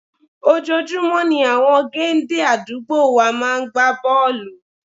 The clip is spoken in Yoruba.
Ojoojúmọ́ ni àwọn géńdé àdúgbò wa máa ń gbá bọ́ọ̀lù